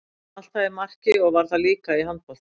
Ég var alltaf í marki og ég var það líka í handbolta.